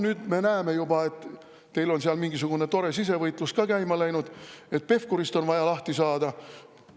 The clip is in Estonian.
Nüüd me näeme juba, et teil on mingisugune tore sisevõitlus ka käima läinud: Pevkurist on vaja lahti saada.